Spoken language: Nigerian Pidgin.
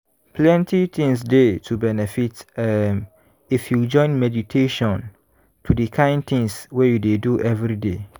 plenty things dey to benefit um if you join meditation to di kain things wey you dey do everyday.